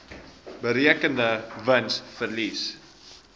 berekende wins verlies